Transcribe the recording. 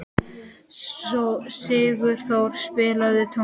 Sigurþór, spilaðu tónlist.